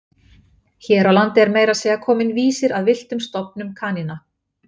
Hér á landi er meira að segja kominn vísir að villtum stofnum kanína.